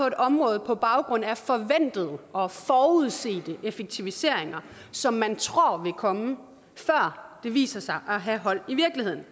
et område på baggrund af forventede og forudsete effektiviseringer som man tror vil komme før de viser sig at have hold i virkeligheden